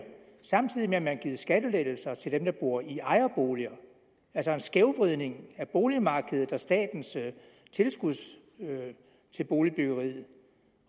samtidig med at man har givet skattelettelser til dem der bor i ejerboliger altså en skævvridning af boligmarkedet og statens tilskud til boligbyggeriet